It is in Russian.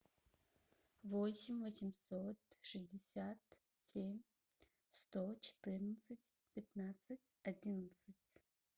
восемь восемьсот шестьдесят семь сто четырнадцать пятнадцать одиннадцать